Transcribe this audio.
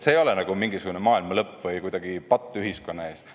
See ei ole mingisugune maailma lõpp või patt ühiskonna ees.